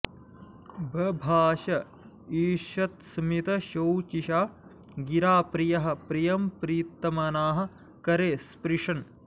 बभाष ईषत्स्मितशोचिषा गिरा प्रियः प्रियं प्रीतमनाः करे स्पृशन्